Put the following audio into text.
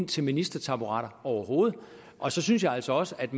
til ministertaburetterne overhovedet og så synes jeg altså også at